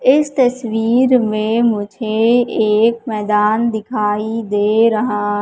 इस तस्वीर में मुझे एक मैदान दिखाई दे रहा--